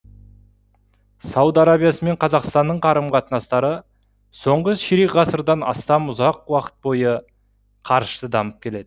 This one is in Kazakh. сауд арабиясы мен қазақстанның қарым қатынастары соңғы ширек ғасырдан астам ұзақ уақыт бойы қарышты дамып келеді